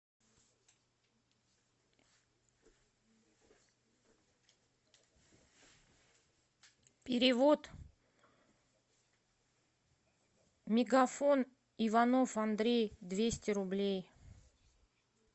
перевод мегафон иванов андрей двести рублей